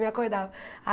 Me acordava.